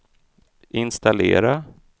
installera